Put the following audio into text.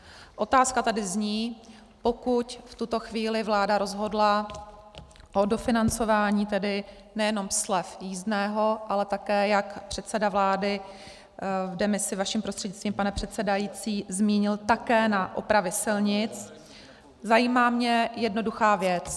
Otázka tady zní, pokud v tuto chvíli vláda rozhodla o dofinancování tedy nejenom slev jízdného, ale také jak předseda vlády v demisi, vaším prostřednictvím, pane předsedající, zmínil také na opravy silnic, zajímá mě jednoduchá věc.